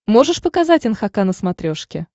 можешь показать нхк на смотрешке